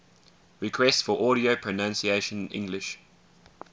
requests for audio pronunciation english